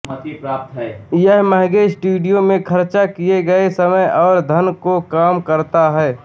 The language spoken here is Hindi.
यह महंगे स्टूडियो में खर्च किए गए समय और धन को कम करता है